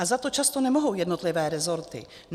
A za to často nemohou jednotlivé rezorty.